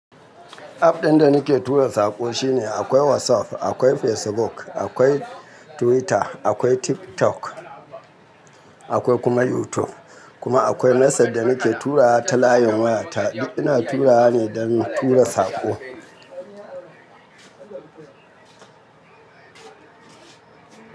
App ɗin da nake tura saƙo shine akwai WhatsApp, akwai Facebook, akwai Twitter, akwai TikTok, akwai kuma YouTube. Kuma akwai message da nake turawa ta layin wayata. Ina turawa ne don tura saƙo.